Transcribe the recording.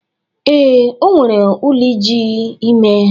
Ee, o nwere ụlọ iji ime.